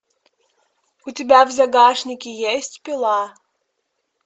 у тебя в загашнике есть пила